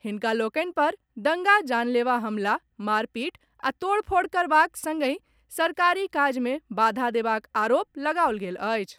हिनका लोकनि पर दंगा, जानलेवा हमला, मारपीट आ तोड़फोड़ करबाक संगहि सरकारी काज मे बाधा देबाक आरोप लगाओल गेल अछि।